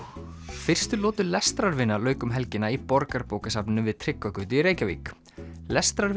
fyrstu lotu lauk um helgina í Borgarbókasafninu við Tryggvagötu í Reykjavík